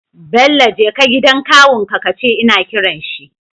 Bello jeka gidan kawun ka kace ina kiran shi